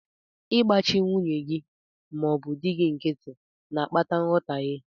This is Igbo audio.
Ịgbachi nwunye gị ma ọ bụ di gị nkịtị na-akpata nghọtaghe.